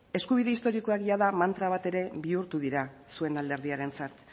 eskubide historikoak jada mantra bat ere bihurtu dira zuen alderdiarentzat